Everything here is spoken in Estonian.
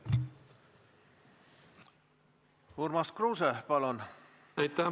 Urmas Kruuse, palun!